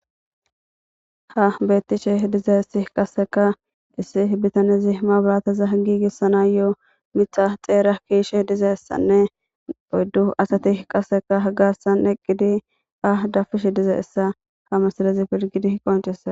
ha beettishe diza issi qasseka issi bitanezi ma balaataza giigissana yo7o mixa xeera kiishe diza issanne oyddu asati qaseka hagassan eqqidi ah dafish diza issa ha masalazi pirgidi h qonchessa